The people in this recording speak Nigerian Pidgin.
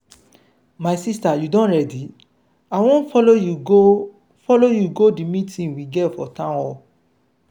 my sister you don ready? i wan follow you go follow you go the meeting we get for town hall.